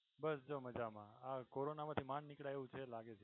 બસ જો મજામાં આ corona માંથી માંડ નીકળાય એવું છે